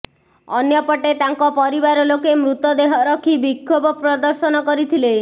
ଅନ୍ୟପଟେ ତାଙ୍କ ପରିବାର ଲୋକେ ମୃତ ଦେହ ରଖି ବିକ୍ଷୋଭ ପ୍ରଦର୍ଶନ କରିଥିଲେ